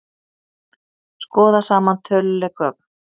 Skoða saman töluleg gögn